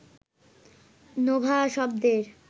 Nova শব্দের